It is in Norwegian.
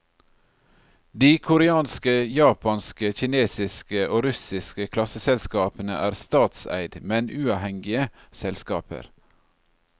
De koreanske, japanske, kinesiske og russiske klasseselskapene er statseid, men uavhengige selskaper.